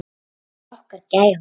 Það var okkar gæfa.